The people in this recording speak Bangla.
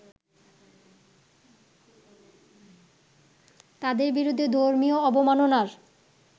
তাদের বিরুদ্ধে ধর্মীয় অবমাননার